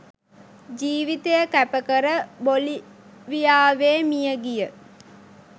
ජීවිතය කැපකර බොලීවියාවේ මියගිය